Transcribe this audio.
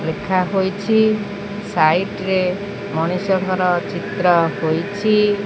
ଲେଖାହୋଇଛି site ରେ ମଣିଷଙ୍କର ଚିତ୍ର ହୋଇଛି।